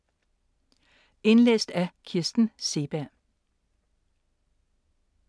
Indlæst af: